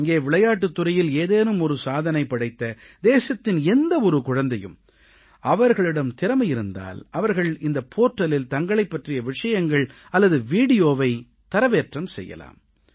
இங்கே விளையாட்டுத் துறையில் ஏதேனும் ஒரு சாதனை படைத்த தேசத்தின் எந்த ஒரு குழந்தையும் அவர்களிடம் திறமை இருந்தால் அவர்கள் இந்த போர்டலில் தங்களைப் பற்றிய விவரங்கள் அல்லது வீடியோவை தரவேற்றம் செய்யலாம்